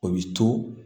O bi to